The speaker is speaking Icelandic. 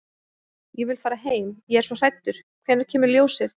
Ég vil fara heim. ég er svo hræddur. hvenær kemur ljósið?